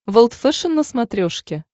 волд фэшен на смотрешке